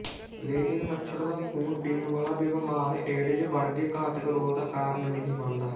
ਲੇਕਿਨ ਮੱਛਰ ਦਾ ਖੂਨ ਪੀਣ ਵਾਲਾ ਵਿਵਹਾਰ ਏਡਜ਼ ਵਰਗੇ ਘਾਤਕ ਰੋਗ ਦਾ ਕਾਰਨ ਨਹੀਂ ਬਣਦਾ